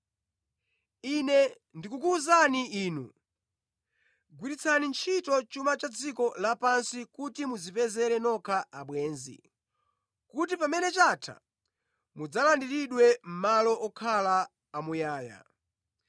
Ine ndikukuwuzani inu, gwiritsani ntchito chuma cha dziko lapansi kuti mudzipezere nokha abwenzi, kuti pamene chatha mudzalandiridwe mʼmalo okhala amuyaya.